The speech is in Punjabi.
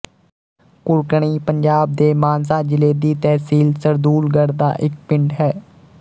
ਘੁਰਕਣੀ ਪੰਜਾਬ ਦੇ ਮਾਨਸਾ ਜ਼ਿਲ੍ਹੇ ਦੀ ਤਹਿਸੀਲ ਸਰਦੂੂਲਗੜ੍ਹ ਦਾ ਇੱਕ ਪਿੰਡ ਹੈ